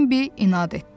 Bəbi inad etdi.